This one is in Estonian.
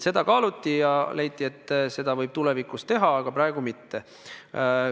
Seda kaaluti ja leiti, et seda võib tulevikus teha, aga praegu mitte.